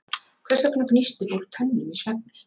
Hvers vegna gnístir fólk tönnum í svefni?